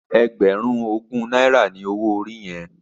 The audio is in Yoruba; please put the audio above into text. Ègbèrún ógún nàirá ni ôwó óri yèn?